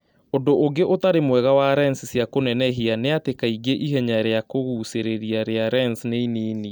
Ũndũ ũngĩ ũtarĩ mwega wa lens cia kũnenehia nĩ atĩ kaingĩ ihenya rĩa kũgucĩrĩria rĩa lensi nĩ inini.